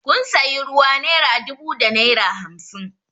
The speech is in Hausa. Kun sayi ruwa naira dubu da naira hamsin